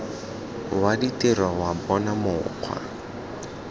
wa ditiro wa bona mokgwa